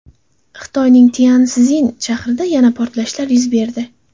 Xitoyning Tyanszin shahrida yana portlashlar yuz berdi.